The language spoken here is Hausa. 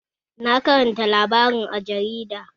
Na karanta labarin a jarida